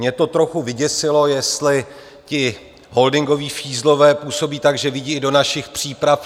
Mě to trochu vyděsilo, jestli ti holdingoví fízlové působí tak, že vidí i do našich příprav.